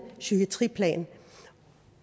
psykiatriplan